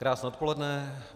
Krásné odpoledne.